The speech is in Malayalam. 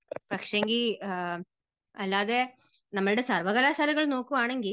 പക്ഷെങ്കിൽ അല്ലാതെ നമ്മുടെ സർവ്വകലാശാലകൾ നോക്കുവാണെങ്കിൽ